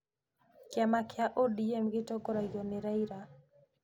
Kĩama kĩa ODM gĩtongoragio nĩ Raila.